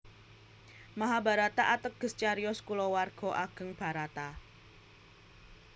Mahabharata ateges cariyos kulawarga ageng Bharata